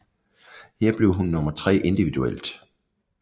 Her blev hun nummer tre individuelt